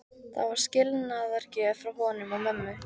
Það var skilnaðargjöf frá honum og mömmu.